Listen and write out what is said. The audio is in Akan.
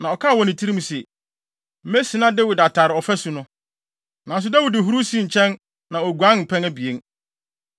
na ɔkaa wɔ ne tirim se, “Mesina Dawid atare ɔfasu no.” Nanso Dawid huruw sii nkyɛn na oguanee mpɛn abien.